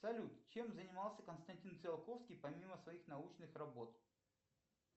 салют чем занимался константин циолковский помимо своих научных работ